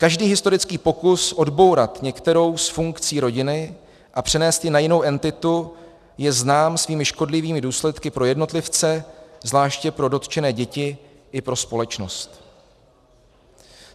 Každý historický pokus odbourat některou z funkcí rodiny a přenést ji na jinou entitu je znám svými škodlivými důsledky pro jednotlivce, zvláště pro dotčené děti, i pro společnost.